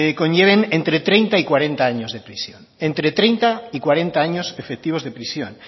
conlleven entre treinta y cuarenta años de prisión entre treinta y cuarenta años efectivos de prisión